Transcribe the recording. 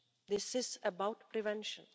This is about prevention.